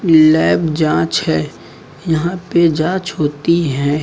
Lab जांच है यहां पे जांच होती है।